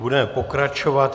Budeme pokračovat.